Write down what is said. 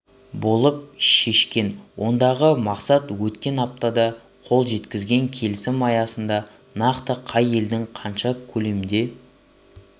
болып шешкен ондағы мақсат өткен аптада қол жеткізген келісім аясында нақты қай елдің қанша көлемде